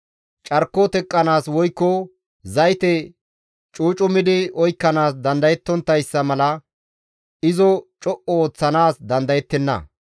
Carko teqqanaas woykko zayte cucumidi oykkanaas dandayettonttayssa mala izo co7u ooththanaas dandayettenna.